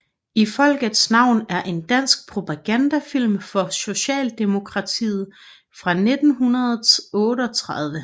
I folkets navn er en dansk propagandafilm for Socialdemokratiet fra 1938